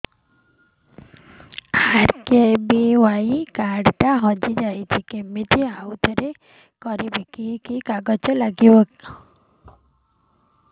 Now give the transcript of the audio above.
RKBY card ଟା ହଜିଯାଇଛି କିମିତି ଆଉଥରେ କରିବି କି କି କାଗଜ ଲାଗିବ